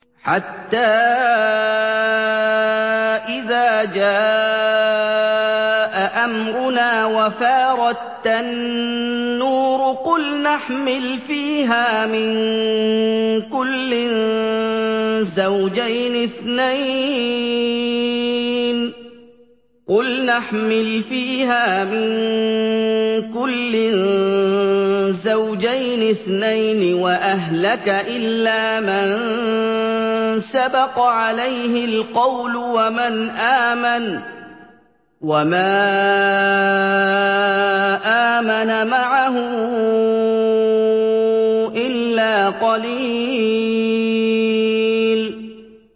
حَتَّىٰ إِذَا جَاءَ أَمْرُنَا وَفَارَ التَّنُّورُ قُلْنَا احْمِلْ فِيهَا مِن كُلٍّ زَوْجَيْنِ اثْنَيْنِ وَأَهْلَكَ إِلَّا مَن سَبَقَ عَلَيْهِ الْقَوْلُ وَمَنْ آمَنَ ۚ وَمَا آمَنَ مَعَهُ إِلَّا قَلِيلٌ